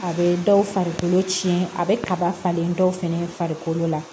A bɛ dɔw farikolo tiɲɛ a bɛ kaba falen dɔw fɛnɛ farikolo la